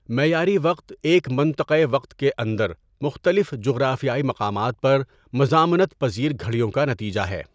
معیاری وقت ایک منطقۂ وقت کے اندر مختلف جغرافیائی مقامات پر مزامنت پزیر گھڑیوں کا نتیجہ ہے.